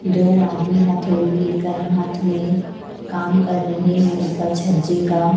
दो आदमी हथौड़ी लेकर हाथ में काम कर रहें हैं ऊपर छज्जे का।